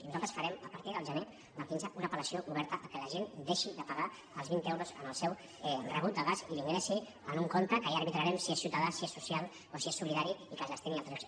i nosaltres farem a partir del gener del quinze una apel·lació oberta perquè la gent deixi de pagar els vint euros en el seu rebut de gas i l’ingressi en un compte que ja arbitrarem si és ciutadà si és social o si és solidari i que es destini a altres llocs